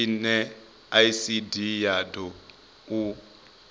zwine icd ya d o